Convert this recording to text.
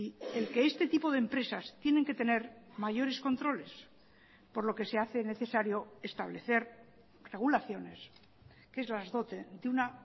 el que este tipo de empresas tienen que tener mayores controles por lo que se hace necesario establecer regulaciones que las dote de una